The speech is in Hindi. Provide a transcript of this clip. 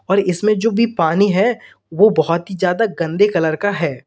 और इसमें जो भी पानी है वो बहुत ही ज्यादा गंदे कलर का है।